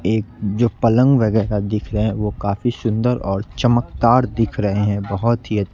एक जो पलंग वगैरा दिख रहें वो काफी सुंदर और चमकदार दिख रहे हैं बहोत ही --